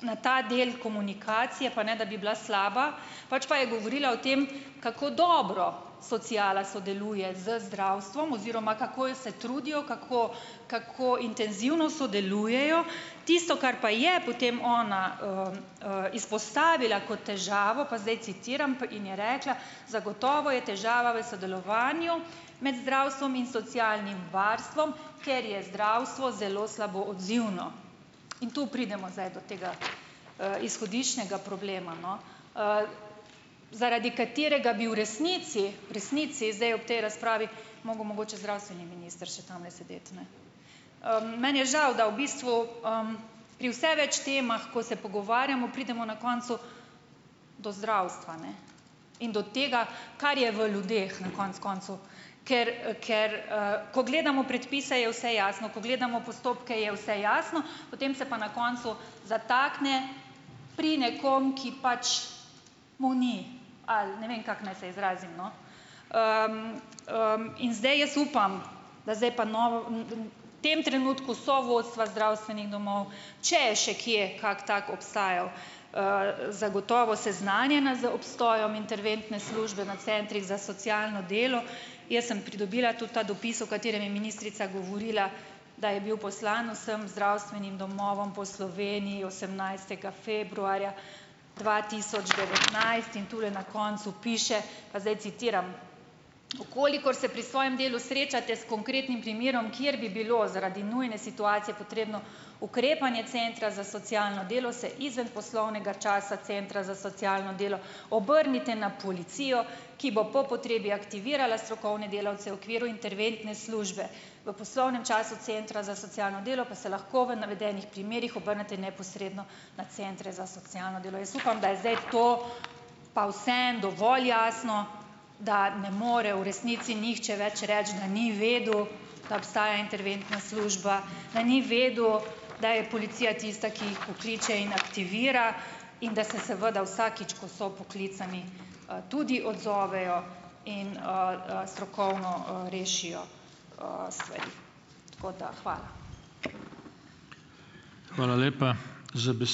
na ta del komunikacije, pa ne da bi bila slaba, pač pa je govorila o tem, kako dobro sociala sodeluje z zdravstvom oziroma kako se trudijo, kako kako intenzivno sodelujejo, tisto, kar pa je potem ona izpostavila kot težavo, pa zdaj citiram pa, in je rekla: "Zagotovo je težava v sodelovanju med zdravstvom in socialnim varstvom, ker je zdravstvo zelo slabo odzivno." In tu pridemo zdaj do tega izhodiščnega problema, no. zaradi katerega bi v resnici, v resnici zdaj ob tej razpravi, moral mogoče zdravstveni minister še tamle sedeti, ne. meni je žal, da v bistvu pri vse več temah, ko se pogovarjamo, pridemo na koncu do zdravstva, ne. In do tega, kar je v ljudeh na koncu koncev, ker ker ko gledamo predpise je vse jasno, ko gledamo postopke, je vse jasno, potem se pa na koncu zatakne pri nekom, ki pač mu ni, ali ne vem, kako naj se izrazim, no. in zdaj jaz upam, da zdaj pa v tem trenutku so vodstva zdravstvenih domov, če je še kje kak tak obstajal, zagotovo seznanjena z obstojem interventne službe na centrih za socialno delo. Jaz sem pridobila tudi ta dopis, v katerem je ministrica govorila, da je bil poslan vsem zdravstvenim domovom po Sloveniji osemnajstega februarja dva tisoč devetnajst in tule na koncu piše, pa zdaj citiram: "V kolikor se pri svojem delu srečate s konkretnim primerom, kjer bi bilo, zaradi nujne situacije, potrebno ukrepanje centra za socialno delo, se izven poslovnega časa centra za socialno delo obrnite na policijo, ki bo po potrebi aktivirala strokovne delavce v okviru interventne službe. V poslovnem času centra za socialno delo pa se lahko v navedenih primerih obrnete neposredno na centre za socialno delo." Jaz upam, da je zdaj to pa vseeno dovolj jasno, da ne more v resnici nihče več reči, da ni vedel, da obstaja interventna služba , da ni vedel , da je policija tista, ki jih pokliče in aktivira in da se seveda vsakič, ko so poklicani, tudi odzovejo in strokovno rešijo stvari . Tako da, hvala. Hvala lepa. Za